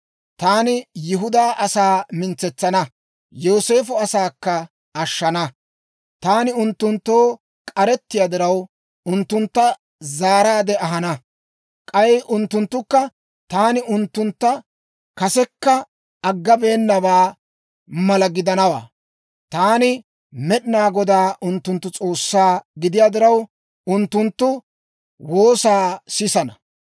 «Taani Yihudaa asaa mintsetsana; Yooseefo asaakka ashshana; taani unttunttoo k'arettiyaa diraw, unttunttu zaaraade ahana; k'ay unttunttukka taani unttuntta kasekka aggabeennabaa mala gidanawaa. Taani Med'inaa Godaa unttunttu S'oossaa gidiyaa diraw, unttunttu woosaa sisana.